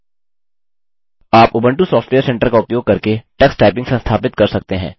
आप Ubuntu software centre का उपयोग करके tux typing संस्थापित कर सकते हैं